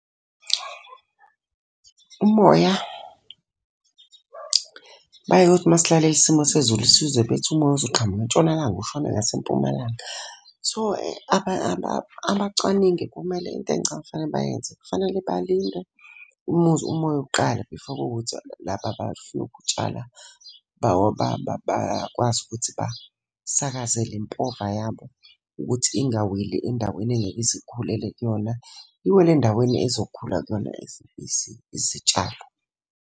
Umoya bayeke kuthi masilalele isimo sezulu sizwe bethi umoya uzoqhamuka entshonalanga ushone ngasempumalanga. So, abacwaningi kumele into engicabanga ukuthi fanele bayenze, kufanele balinde umuzi umoya uqala before kuwukuthi laba abafuna'ukutshala bakwazi ukuthi basakazela le mpova yabo. Ukuthi ingaweli endaweni engeke ize ikhulele kuyona. Iwele endaweni ezokhula kuyona izitshalo.